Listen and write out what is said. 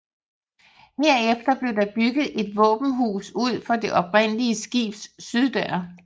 Herefter blev der bygget et våbenhus ud for det oprindelige skibs syddør